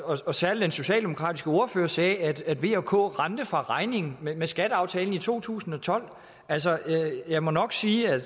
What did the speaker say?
og særlig den socialdemokratiske ordfører sagde at at v og k rendte fra regningen med skatteaftalen i to tusind og tolv altså jeg må nok sige at